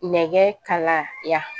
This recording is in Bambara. Nɛgɛ kanɲɛ ya